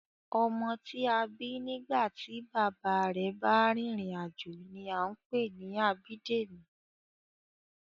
Ọmọ tí a bí nígbà tí bàbá rẹ̀ bá rìnrìn-àjò ni a ń pè ní Abídèmí